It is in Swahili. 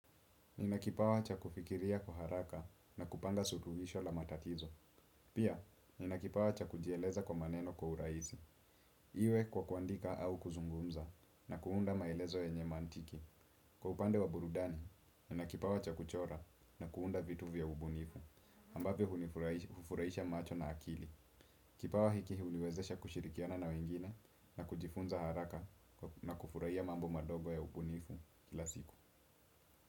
Nina kipawa cha kufikiria kwa haraka na kupanga suluhisho la matatizo. Pia, nina kipawa cha kujieleza kwa maneno kwa urahisi. Iwe kwa kwandika au kuzungumza na kuunda maelezo yenye mantiki. Kwa upande wa burudani, nina kipawa cha kuchora na kuunda vitu vya ubunifu. Ambavyo hufurahisha macho na akili. Kipawa hiki huniwezesha kushirikiana na wengine na kujifunza haraka na kufurahia mambo madogo ya ubunifu kila siku.